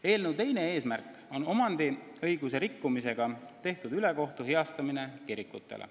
Eelnõu teine eesmärk on omandiõiguse rikkumisega tehtud ülekohtu heastamine kirikutele.